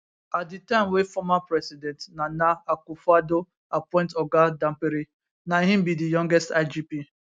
at di time wey former president nana akufoaddo appoint oga dampare na im be di youngest igp